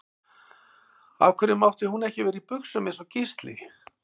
Af hverju mátti hún ekki vera í buxum eins og Gísli?